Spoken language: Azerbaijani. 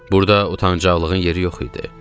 Burda utancaqlığın yeri yox idi.